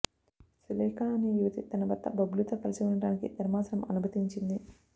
సులేఖ అనే యువతి తన భర్త బబ్లూతో కలిసి ఉండటానికి ధర్మాసనం అనుమతించింది